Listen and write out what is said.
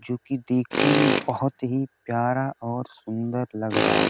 जो की देखने में बहुत ही प्यारा और सुंदर लग रहा --